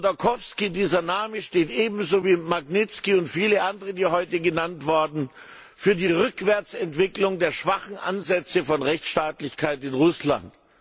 Chodorkowski, dieser Name steht ebenso wie Magnitskij und viele andere, die heute genannt wurden, für die Rückwärtsentwicklung der schwachen Ansätze von Rechtsstaatlichkeit in Russland.